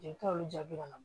Jelita olu jaabi ka na